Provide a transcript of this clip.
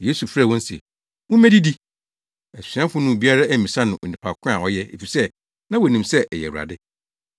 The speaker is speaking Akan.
Yesu frɛɛ wɔn se, “Mummedidi.” Asuafo no mu biara ammisa no onipa ko a ɔyɛ efisɛ na wonim sɛ ɛyɛ Awurade.